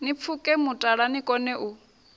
ni pfuke mutala nikone u